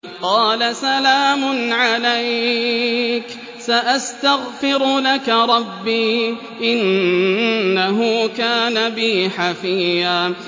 قَالَ سَلَامٌ عَلَيْكَ ۖ سَأَسْتَغْفِرُ لَكَ رَبِّي ۖ إِنَّهُ كَانَ بِي حَفِيًّا